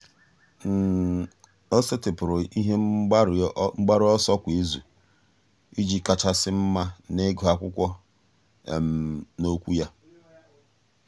um ọ́ sètị́pụ̀rụ̀ ihe mgbaru ọsọ kwa ìzù um iji kàchàsị́ mma n’ị́gụ́ ákwụ́kwọ́ na okwu um ya.